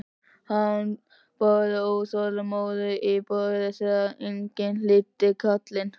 Hann barði óþolinmóður í borðið þegar enginn hlýddi kallinu.